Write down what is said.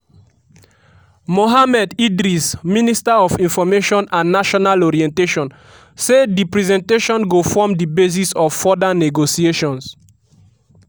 mohammed idris minister of information and national orientation say di presentation go form di basis of further negotiations.